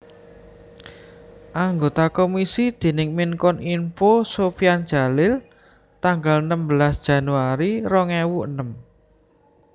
Anggota komisi déning Menkominfo Sofyan Djalil tanggal enem belas Januari rong ewu enem